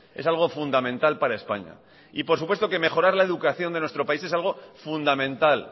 es algo fundamental para españa y por supuesto que mejorar la educación de nuestro país es algo fundamental